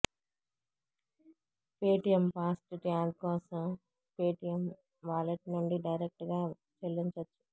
Paytm fast tag కోసం Paytm wallet నుండి direct గా చెల్లించొచ్చు